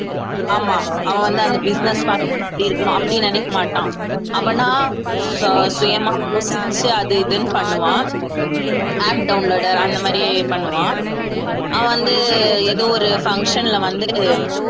ஆமா அவன் வந்து அந்த business பாத்துக்கினு இருக்கணும் அப்படி நினைக்க மாட்டான் அவனா சு~ சுயமா யோசிச்சு அது இதுன்னு பண்ணுவான் app downloader அந்த மாதிரி பண்ணுவான் அவன் வந்து ஏதோ ஒரு function ல வந்து